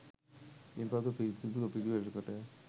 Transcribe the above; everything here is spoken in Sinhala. ඉන් පසුව පිරිසිදුව පිළිවෙළකට